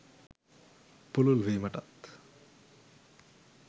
පුළුල් වීමටත්